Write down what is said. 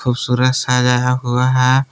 सुरे सजाया हुआ है।